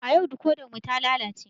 A yau dikodar mu ta lalace